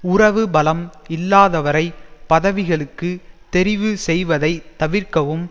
உறவு பலம் இல்லாதவரைப் பதவிகளுக்கு தெரிவு செய்வதை தவிர்க்கவும்